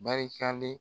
Barikalen